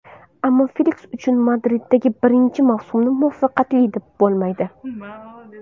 Ammo Feliks uchun Madriddagi birinchi mavsumni muvaffaqiyatli deb bo‘lmaydi.